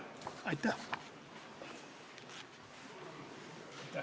Aitäh!